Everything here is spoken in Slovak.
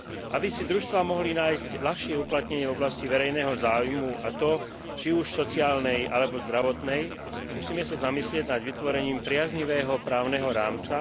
Aby si družstvá mohli nájsť ľahšie uplatnenie v oblasti verejného záujmu, a to či už v sociálnej alebo zdravotnej, musíme sa zamyslieť nad vytvorením priaznivého právneho rámca.